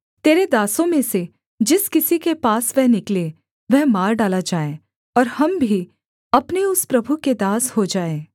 तेरे दासों में से जिस किसी के पास वह निकले वह मार डाला जाए और हम भी अपने उस प्रभु के दास हो जाएँ